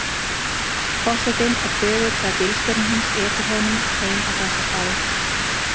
Forsetinn er þögull þegar bílstjórinn hans ekur honum heim á Bessastaði.